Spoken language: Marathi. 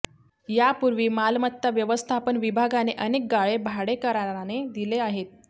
यापूर्वी मालमत्ता व्यवस्थापन विभागाने अनेक गाळे भाडेकराराने दिले आहेत